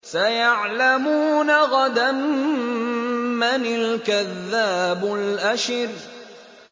سَيَعْلَمُونَ غَدًا مَّنِ الْكَذَّابُ الْأَشِرُ